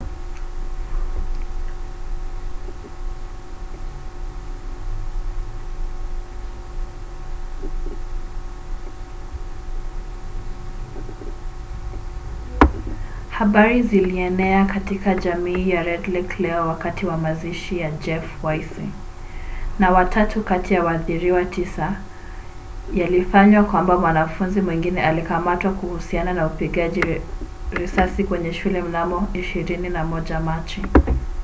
habari zilienea katika jamii ya red lake leo wakati mazishi ya jeff weisse na watatu kati ya waathiriwa tisa yalifanywa kwamba mwanafunzi mwingine alikamatwa kuhusiana na upigaji risasi kwenye shule mnamo 21 machi